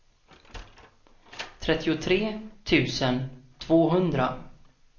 trettiotre tusen tvåhundra